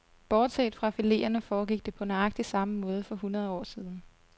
Bortset fra fileterne foregik det på nøjagtig samme måde for hundrede år siden.